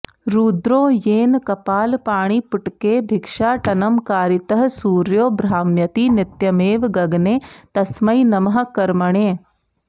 रुद्रो येन कपालपाणिपुटके भिक्षाटनं कारितः सूर्यो भ्राम्यति नित्यमेव गगने तस्मै नमः कर्मणे